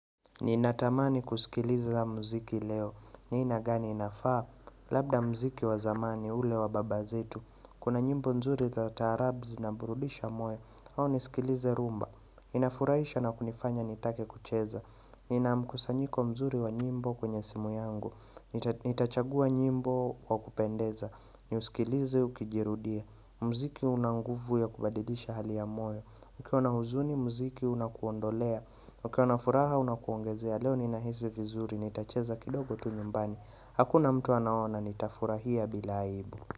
Ni natamani kusikiliza mziki leo. Ni aina gani inafaa? Labda mziki wa zamani ule wa baba zetu. Kuna nyimbo nzuri za tarabzi na burudisha moe. Au nisikilize rumba. Inafuraisha na kunifanya nitake kucheza. Nina mkusanyiko mzuri wa nyimbo kwenye simu yangu. Nitachagua nyimbo wa kupendeza. Ni usikilize ukijirudia. Mziki unanguvu ya kubadilisha hali ya moyo. Ukiwa na huzuni muziki unakuondolea, ukiwa na furaha unakuongezea, leo ni nahisi vizuri, nitacheza kidogo tu nyumbani, hakuna mtu anaona, nita furahia bila aibu.